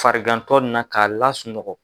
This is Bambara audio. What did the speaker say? Farigantɔ na k'a lasunɔgɔ.